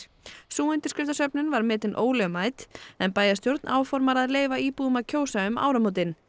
sú undirskriftasöfnun var metin ólögmæt en bæjarstjórn áformar að leyfa íbúum að kjósa um áramótin